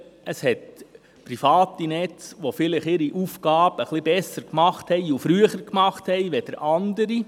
Es hat private Netze, die ihre Aufgabe vielleicht etwas besser und früher gemacht haben als andere.